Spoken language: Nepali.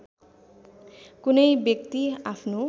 कुनै व्यक्ति आफ्नो